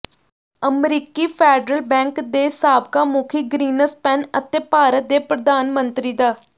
ਅਮਰੀਕੀ federal bank ਦੇ ਸਾਬਕਾ ਮੁਖੀ ਗਰੀਨਸਪੈਨ ਅਤੇ ਭਾਰਤ ਦੇ ਪ੍ਰਧਾਨ ਮੰਤਰੀ ਡਾ